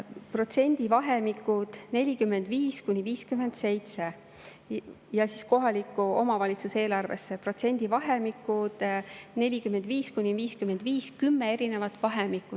Protsendivahemikud 45–57, kohaliku omavalitsuse eelarvesse protsendivahemikud 45–55 ehk kümme erinevat.